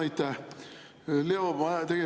Aitäh!